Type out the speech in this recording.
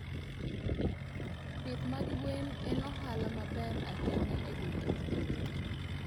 Pith mag gwen en ohala maber ahinya e gwenge maboyo.